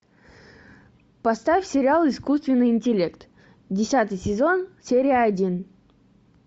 поставь сериал искусственный интеллект десятый сезон серия один